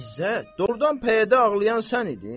İzzət, doğrudan pəyədə ağlayan sən idin?